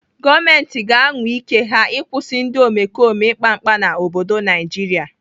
Gọọmenti ga-anwa ike ya ịkwụsị ndị omekome ikpa mkpa mkpa n'obodo Naijiria.